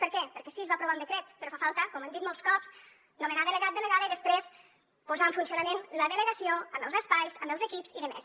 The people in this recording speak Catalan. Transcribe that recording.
per què perquè sí es va aprovar un decret però fa falta com hem dit molts cops nomenar delegat delegada i després posar en funcionament la delegació amb els espais amb els equips i tot plegat